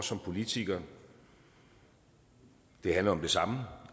som politikere handler om det samme